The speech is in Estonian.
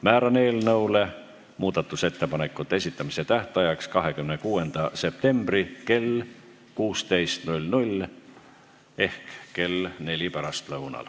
Määran eelnõu muudatusettepanekute esitamise tähtajaks 26. septembri kell 16 ehk kell neli pärastlõunal.